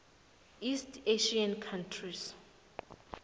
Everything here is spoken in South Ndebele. east asian countries